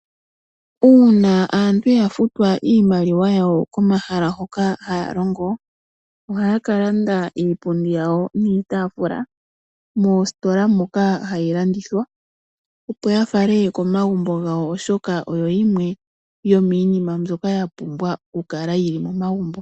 Uuna aantu ya futwa iimaliwa yawo komahala hoka haya longo, oha ya ka landa iipundi yawo niitaafula moostola moka ha yilandithwa opo ya fale komagumbo gawo oshoka oyo yimwe yo miinima mbyoka ya pumbwa oku kala yili momagumbo.